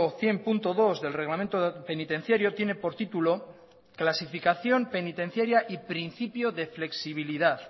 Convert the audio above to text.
cien punto dos del reglamento penitenciario tiene por título clasificación penitenciaria y principio de flexibilidad